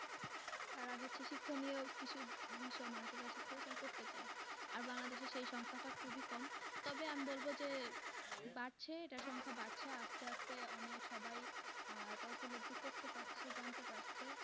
তারা হচ্ছে শিক্ষণীয় কিছু বিষয় মানুষের কাছে তারা প্রচার করতে চায়। আর বাংলাদেশের সেই সংখ্যাটা খুবই কম তবে আমি বলবো যে বাড়ছে এটার সংখ্যা বাড়ছে আস্তে আস্তে অনেক সবাই আহ এটা উপলব্ধি করতে পারছে জানতে পারছে।